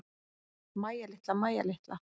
Mæja litla, Mæja litla.